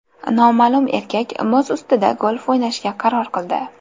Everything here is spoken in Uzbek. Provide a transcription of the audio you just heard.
Noma’lum erkak muz ustida golf o‘ynashga qaror qildi.